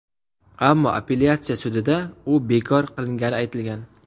Ammo appelyatsiya sudida u bekor qilingani aytilgan.